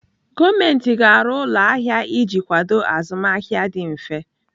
Gọọmenti ga-arụ ụlọ ahịa iji kwado azụmahịa dị mfe.